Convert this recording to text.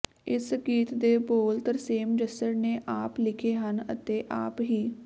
ਇਸ ਗੀਤ ਦੇ ਬੋਲ ਤਰਸੇਮ ਜੱਸੜ ਨੇ ਆਪ ਲਿਖੇ ਹਨ ਅਤੇ ਆਪ ਹੀ